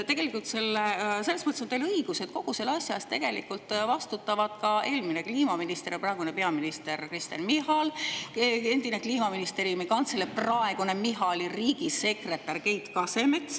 Tegelikult selles mõttes on teil õigus, et kogu selle asja eest vastutavad ka eelmine kliimaminister ja praegune peaminister Kristen Michal ning endine Kliimaministeeriumi kantsler ja praegune riigisekretär Keit Kasemets.